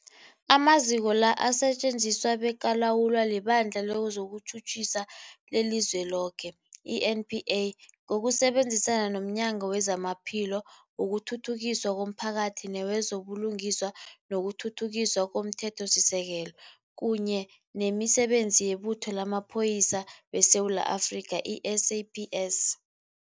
Amaziko la asetjenziswa bekalawulwa liBandla lezokuTjhutjhisa leliZweloke, i-NPA, ngokusebenzisana nomnyango wezamaPhilo, wokuthuthukiswa komphakathi newezo buLungiswa nokuThuthukiswa komThethosisekelo, kunye nemiSebenzi yeButho lamaPholisa weSewula Afrika, i-SAPS.